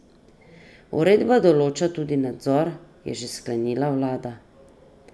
Uredba določa tudi nadzor, je še sklenila vlada.